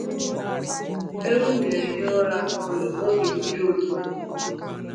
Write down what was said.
Ewu na-ehi ụra n'ụlọ n'oge mmiri ozuzo.